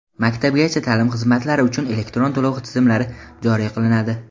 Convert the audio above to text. Maktabgacha ta’lim xizmatlari uchun elektron to‘lov tizimlari joriy qilinadi.